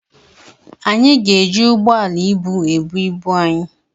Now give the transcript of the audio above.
Anyị ga-eji ụgbọala ibu ebu ibu anyị.